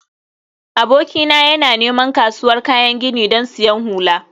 abokina yana neman kasuwar kayan gini don siyan hula